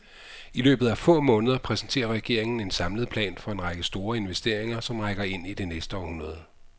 I løbet af få måneder præsenterer regeringen en samlet plan for en række store investeringer, som rækker ind i det næste århundrede.